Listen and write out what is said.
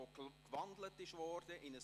Ja oder Nein?